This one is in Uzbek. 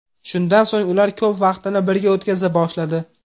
Shundan so‘ng ular ko‘p vaqtini birga o‘tkaza boshladi.